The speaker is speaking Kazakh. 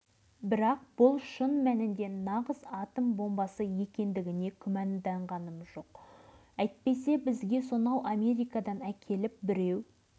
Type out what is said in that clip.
міне бар білетінім осы сөйтіп тағы да аяқ астынан қырылып қала жаздадық сосын бұл жөнінде біреуге